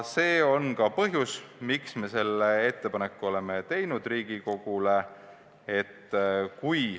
See on ka põhjus, miks me selle ettepaneku oleme Riigikogule teinud.